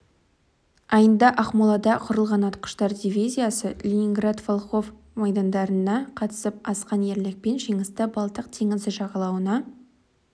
айында ақмолада құрылған атқыштар дивизиясы ленинград волхов майдандарына қатысып асқан ерлікпен жеңісті балтық теңізі жағалауында